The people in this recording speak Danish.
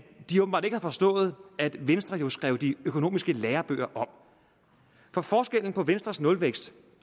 de åbenbart ikke har forstået at venstre jo skrev de økonomiske lærebøger om for forskellen på venstres nulvækst